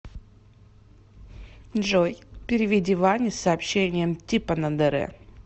джой переведи ване с сообщением типа на др